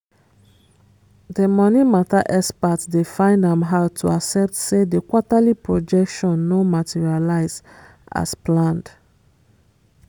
the money matter expert dey find am hard to accept say the quarterly projection no materialize as planned